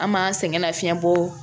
An m'an sɛgɛn nafiɲɛ bɔ